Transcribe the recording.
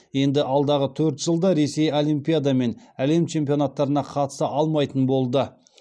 енді алдағы төрт жылда ресей олимпиада мен әлем чемпионаттарына қатыса алмайтын болды